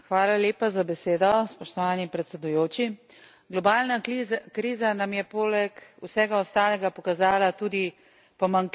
Globalna kriza nam je poleg vsega ostalega pokazala tudi pomanjkljivost in ranljivost naših finančnih sistemov.